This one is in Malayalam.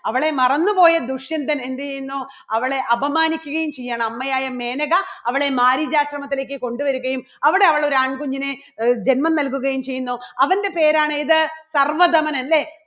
അവളെ മറന്നുപോയ ദുഷ്യന്തൻ എന്ത് ചെയ്യുന്നു അവളെ അപമാനിക്കുകയും ചെയ്യാണ് അമ്മയായ മേനക അവളെ മാരീചാശ്രമത്തിലേക്ക് കൊണ്ടുവരികയും അവിടെ അവൾ ഒരു ആൺകുഞ്ഞിന് ജന്മം നൽകുകയും ചെയ്യുന്നു. അവൻറെ പേരാണ് ഇത് സർവ്വധമനൻ. അല്ലേ?